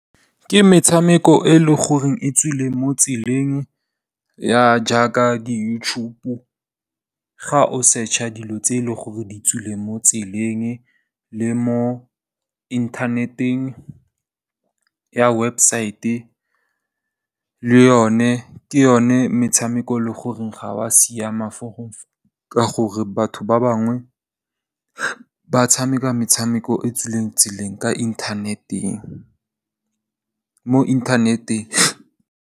Ke metshameko e leng gore e tswile mo tseleng jaaka di YouTube ga o search-a dilo tse e leng gore di tswile mo tseleng le mo inthaneteng ya website, le yone ke yone metshameko e leng gore ga ya siama ka gore batho ba bangwe ba tshameka, metshameko e tswileng tseleng mo inthaneteng.